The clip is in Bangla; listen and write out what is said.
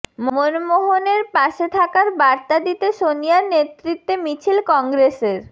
মনমোহনের পাশে থাকার বার্তা দিতে সনিয়ার নেতৃত্বে মিছিল কংগ্রেসের